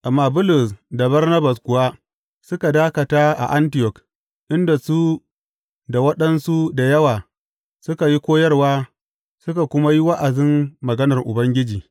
Amma Bulus da Barnabas kuwa suka dakata a Antiyok, inda su da waɗansu da yawa suka yi koyarwa suka kuma yi wa’azin maganar Ubangiji.